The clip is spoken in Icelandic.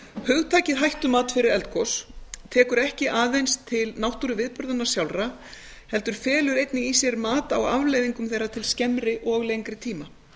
hugtakið hættumat fyrir eldgos tekur ekki aðeins til náttúruviðburðanna sjálfra heldur felur einnig í sér mat á afleiðingum þeirra til skemmri og lengri tíma